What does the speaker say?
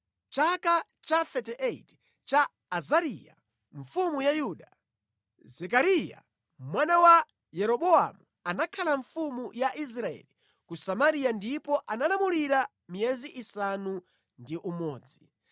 Mʼchaka cha 38 cha Azariya mfumu ya Yuda, Zekariya mwana wa Yeroboamu anakhala mfumu ya Israeli ku Samariya ndipo analamulira miyezi isanu ndi umodzi.